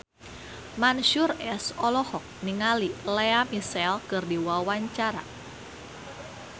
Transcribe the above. Mansyur S olohok ningali Lea Michele keur diwawancara